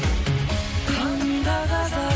қаным да қазақ